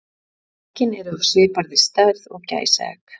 Eggin eru af svipaðri stærð og gæsaegg.